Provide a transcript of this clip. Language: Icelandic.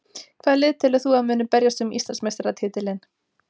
Hvaða lið telur þú að muni berjast um Íslandsmeistaratitilinn?